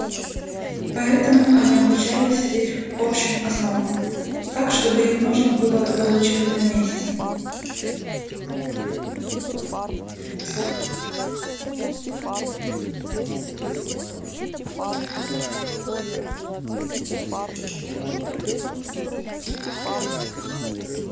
поэтому они обучались лишь общим основам так чтобы их можно было доучивать на месте